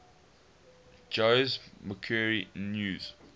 jose mercury news